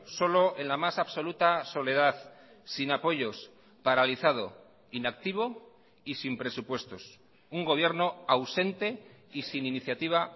solo en la más absoluta soledad sin apoyos paralizado inactivo y sin presupuestos un gobierno ausente y sin iniciativa